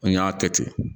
N y'a kɛ ten